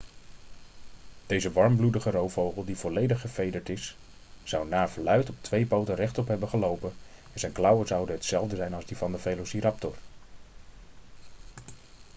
deze warmbloedige roofvogel die volledig gevederd is zou naar verluid op twee poten rechtop hebben gelopen en zijn klauwen zouden hetzelfde zijn als die van de velociraptor